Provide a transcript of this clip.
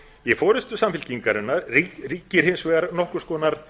í forustu samfylkingarinnar ríkir hins vegar nokkurs konar